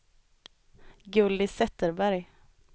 Gulli Zetterberg